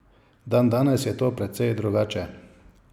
Dandanes je to precej drugače.